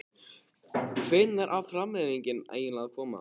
Hvenær á framlengingin eiginlega að koma??